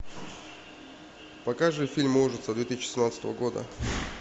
покажи фильм ужасов две тысячи семнадцатого года